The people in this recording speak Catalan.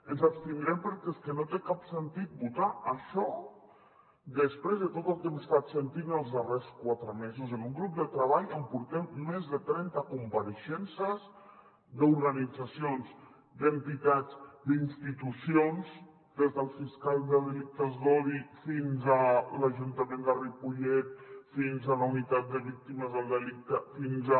ens abstindrem perquè és que no té cap sentit votar això després de tot el que hem estat sentint els darrers quatre mesos en un grup de treball on portem més de trenta compareixences d’organitzacions d’entitats d’institucions des del fiscal de delictes d’odi fins a l’ajuntament de ripollet fins a la unitat de víctimes del delicte fins a